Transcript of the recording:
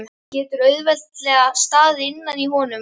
Getur auðveldlega staðið innan í honum.